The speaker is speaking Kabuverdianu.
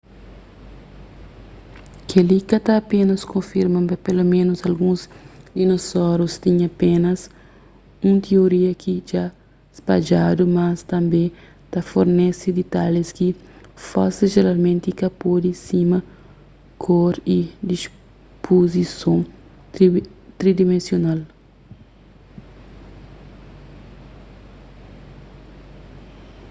kel-li ka ta apénas konfirma ma peloménus alguns dinosaurus tinha penas un tioria ki dja spadjadu mas tanbê ta fornese ditalhis ki fósel jeralmenti ka pode sima kor y dispuzison tridimensional